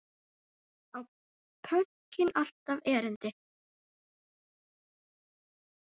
Á pönkið alltaf erindi?